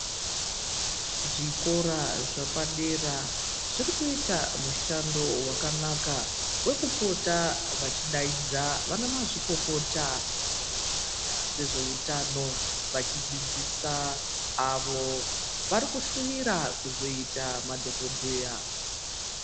Zvikora zvepadera zvirikiita mushando wakanaka wekupota vachidaidza vana mazvikokota munyaya yezveutano vachidzidzisa avo vari kushuwira kuzoita madhokodheya.